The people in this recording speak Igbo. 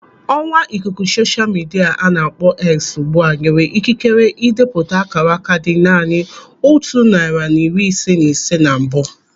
Ọwa ikuku sosha midia a na-akpọ X ugbu a nyere ikikere idepụta ákàrákà dị naanị otu narị na iri ise na ise na mbụ.